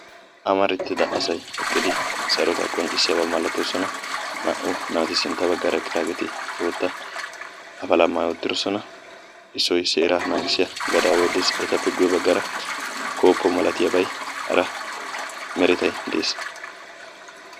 Amarettida asayi eqqidi sarotaa qonccissiiddi de'iyaaba malatoosona. Naa"u naati sintta baggaara eqqidaageeti bootta apalaa maayi uttidosona. Issoy seeraa naagissiya gadaaway des. Etappe guyye baggaara koopo malatiyaabay hara meretay des.